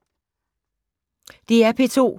DR P2